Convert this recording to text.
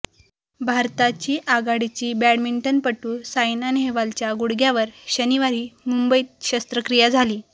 भारताची आघाडीची बॅडमिंटनपटू सायना नेहवालच्या गुडघ्यावर शनिवारी मुंबईत शस्त्रक्रिया झाली